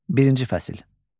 Birinci fəsil.